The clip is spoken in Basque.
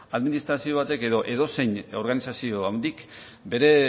administrazio batek edo edozein organizazio handik bere